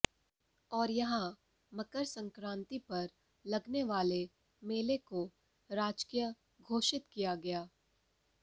और यहां मकर संक्रांति पर लगने वाले मेले को राजकीय घोषित किया गया